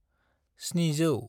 700